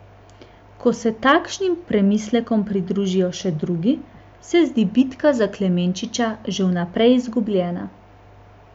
Ko se takšnim premislekom pridružijo še drugi, se zdi bitka za Klemenčiča že vnaprej izgubljena.